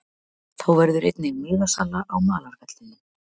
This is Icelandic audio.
Þá verður einnig miðasala á malarvellinum.